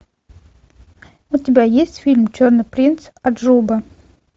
у тебя есть фильм черный принц аджуба